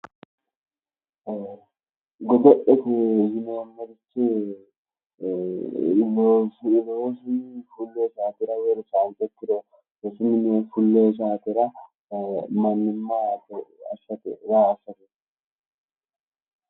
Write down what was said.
Godo'lete yineemmoti ii'i ,ii'i loosuwi woyi rosuuwi fulonnj saatera mannimate milimilora raa assate